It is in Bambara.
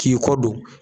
K'i kɔ don